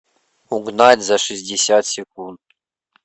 угнать за шестьдесят секунд